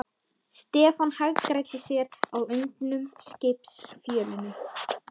Stefán hagræddi sér á undnum skipsfjölunum.